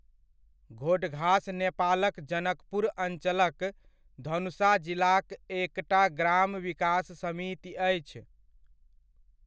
घोडघास नेपालक जनकपुर अञ्चलक धनुषा जिलाक एकटा ग्राम विकास समिति अछि।